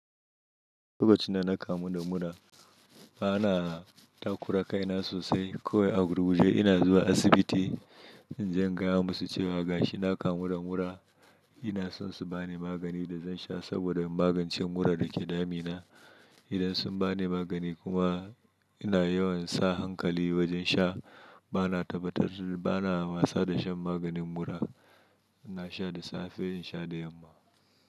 Lokacin da na kamu da mura, bana takura kai na sosai, Kowai a gurguje ina zuwa asibiti, inje in gaya musu cewa gashi na kamu da mura, ina son su bani magani da zan sha, saboda in magance mura da ke damina. Idan sun bani magani kuma, ina yawan sa hankali wajen sha, bana tabbatar, bana wasa da shan maganin mura. Na sha da safe, in sha da yamma.